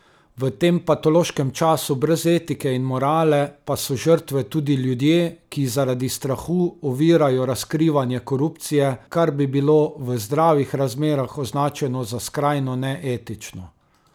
V tem patološkem času brez etike in morale pa so žrtve tudi ljudje, ki zaradi strahu ovirajo razkrivanje korupcije, kar bi bilo v zdravih razmerah označeno za skrajno neetično.